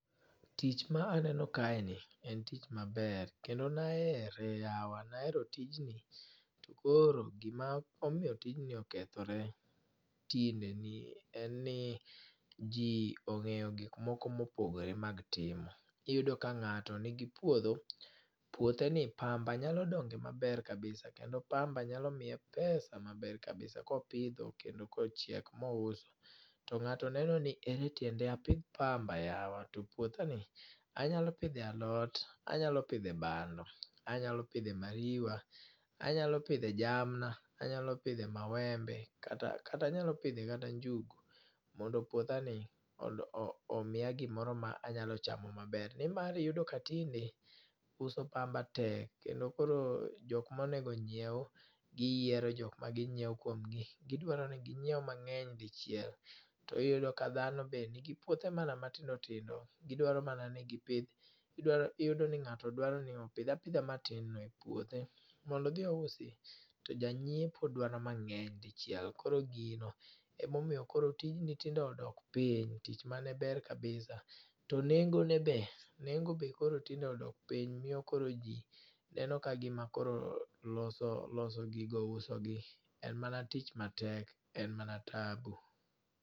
Tich ma aneno kaeni en tich maber kendo ne ahere yawa ne ahere tijni to koro gima omiyo tijni okethore tinde ni en ni ji ong'eyo gik moko mopogore ma gitimo. Iyudo ka ng'ato nigi puodho puotheni pamba nyalo donge maber kabisa kendo pamba nyalo miye pesa maber kabisa kopidho kendo kochiek mous. To ng'ato neno ni ere tiende apidh pamba yawa to puothani anyalo pidhe alot, anyalo pidhe bando, anyalo pidhe ariwa, anyalo pidhe jamna, anyalo pidhe maembe kata anyalo pidhe kata njugu mondo puothani omiya gimoro ma anyalo chamo maber nimar iyudo ka tinde uso pamba tek kendo koro jok monego onyiew giyiero jok ma ginyiewo kuom gi. Gidwaro ni ginyiew mang'eny dichiel to iyudo ka dhano bende nigi puothe mana matindo tindo. Gidwaro mana ni gipidh gidwaro iyudo ni ng'ato dwaro ni opidh apidha matin e puothe mondo odhi ousi to janyiepo dwaro mang'eny dichiel koro gino emomiyo tijno tinde odok piny. To nengone be, nengo be tinde koro odok piny miyo koro ji neno ka gima koro loso loso gigo usogi en mana tich matek en mana tabu.